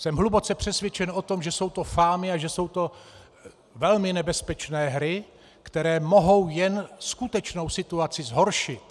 Jsem hluboce přesvědčen o tom, že jsou to fámy a že jsou to velmi nebezpečné hry, které mohou jen skutečnou situaci zhoršit.